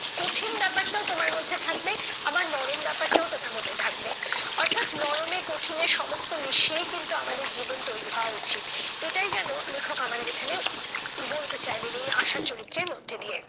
কঠিন ব্যাপারটাও তোমার মধ্যে থাকবে, আবার নরম ব্যাপারটাও তোমার মধ্যে থাকবে। অর্থাৎ নরমে কঠিনে সমস্ত মিশিয়েই কিন্তু আমাদের জীবন তৈরী হওয়া উচিত। এটাই যেন লেখক আমাদের এখানে বলতে চাইলেন এই আশার চরিত্রের মধ্যে দিয়ে।